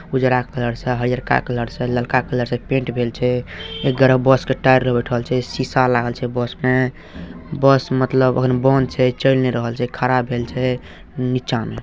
उजरा कलर से हेय हरका कलर से ललका कलर से पेंट भेल छै एक गोरे बस के टायर लग बइठल छै शीशा लागल छै बस मे बस मतलब अखन बंद छै चल नए रहल छै खड़ा भेल छै नीचा में।